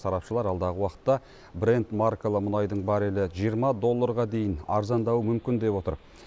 сарапшылар алдағы уақытта бренд маркалы мұнайдың баррелі жиырма долларға дейін арзандауы мүмкін деп отыр